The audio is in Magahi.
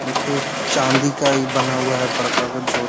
देखिये चांदी का इ बना हुआ है बड़का गो जो --